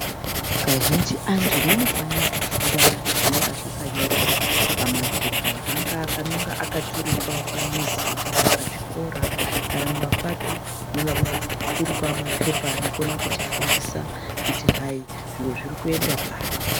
Kazhinji antu anofanira kufunda zvinonga zvakanyorwa pamaphepha, angaa anonga anoturikwa pamizi kana pachikora kana mumapato, mumoona pakaturikwa maphepha anokona kutifundisa kuti hayi zviro zvirikuenda pari.